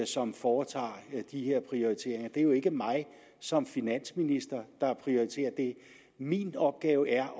som foretager de her prioriteringer det er jo ikke mig som finansminister der prioriterer det min opgave er